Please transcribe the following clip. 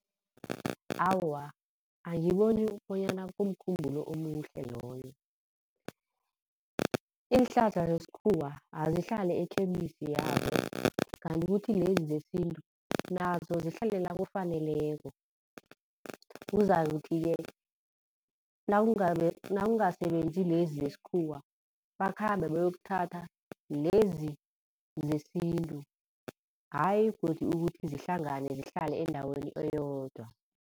Awa, angiboni bonyana kumkhumbulo omuhle loyo. Iinhlahla zesikhuwa azihlale e-chemist yazo, kanti kuthi lezi zesintu nazo zihlale la kufaneleko. Kuzakuthi-ke nakungasebenzi lezi zesikhuwa, bakhambe bayokuthatha lezi zesintu. Ayi godu ukuthi zihlangane zihlale endaweni eyodwa.